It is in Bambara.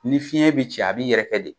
Ni fiɲɛ be ci, a b'i yɛrɛ kɛ de